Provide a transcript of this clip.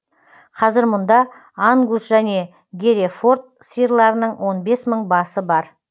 қазір мұнда ангус және герефорд сиырларының он бес мың басы бар